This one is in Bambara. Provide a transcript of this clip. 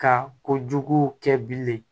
Ka kojugu kɛ bilen